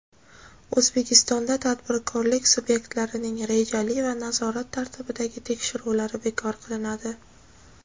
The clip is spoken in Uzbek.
O‘zbekistonda tadbirkorlik subyektlarining rejali va nazorat tartibidagi tekshiruvlari bekor qilinadi.